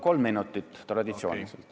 Kolm minutit, traditsiooniliselt.